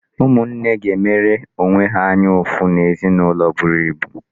Ụmụnne ga-emere onwe ha anya ụfụ n'ezinụlọ eburu ibu.